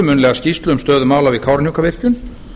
munnlega skýrslu um stöðu mála við kárahnjúkavirkjun